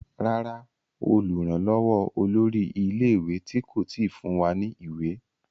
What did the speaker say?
Ràrá olùrànlówó olórí ilé ìwé tí kò tí fún wá ní ìwé.